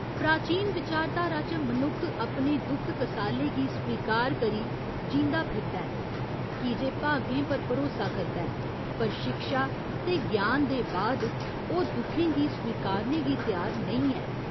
प्राचीन विचारधारा च मनुक्ख अपने दुख कसाले गी स्वीकार करी जींदा फिरदा ऐ कीजे भागें पर भरोसा करदा ऐ पर शिक्षा ते ज्ञान दे बाद ओह् दुखें गी स्वीकारने गी त्यार नेईं ऐ।